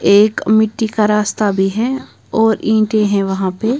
एक मिट्टी का रास्ता भी है और ईंटे हैं वहां पे।